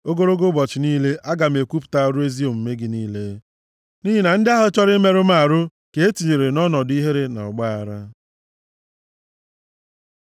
Ogologo ụbọchị niile, aga m ekwupụta ọrụ ezi omume gị niile, nʼihi na ndị ahụ chọrọ imerụ m ahụ, ka e tinyere nʼọnọdụ ihere na ọgbaaghara.